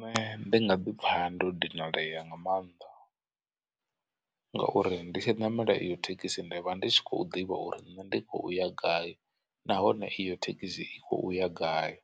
Nṋe ndi nga ḓi pfha ndo dinalea nga mannḓa ngauri nditshi ṋamela iyo thekhisi ndi vha ndi tshi khou ḓivha uri nṋe ndi kho uya gai nahone iyo thekhisi i kho uya gai.